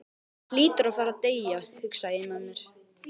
Hann hlýtur að fara að deyja, hugsaði ég með mér.